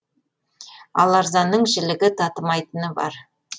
ал арзанның жілігі татымайтыны бар